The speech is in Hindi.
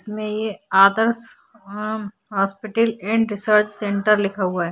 इसमें ये आदर्श अ मम हॉस्पिटल एंड रिसर्च सेन्टर लिखा हुआ है।